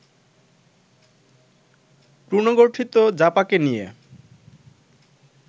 পুনর্গঠিত জাপাকে নিয়ে